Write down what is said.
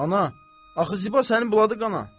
Ana, axı Ziba sənin buladı qana.